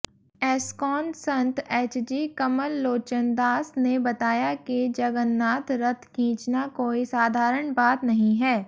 एस्कॉनसंत HG Kamal Lochandas ने बताया की जगन्नाथ रथ खींचना कोई साधारण बात नहीं है